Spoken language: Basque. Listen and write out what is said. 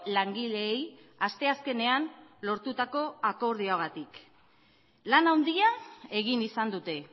langileei asteazkenean lortutako akordioagatik lan handia egin izan dute